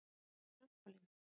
Hrund: Trampólín?